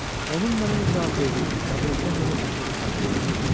Onun mənə nə cavab verdiyini, kabinetdən necə çıxdığımı xatırlamıram.